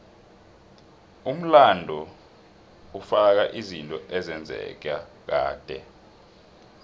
umlando ufaka izinto ezenzeka kade